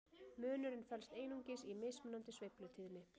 munurinn felst einungis í mismunandi sveiflutíðni